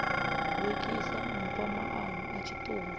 lukisa mpho maano a tshiṱuhu